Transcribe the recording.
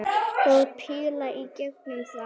Og píla í gegnum það!